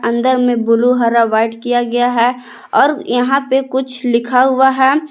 अंदर में ब्ल्यू हर वाइट किया गया है और यहां पे कुछ लिखा हुआ है।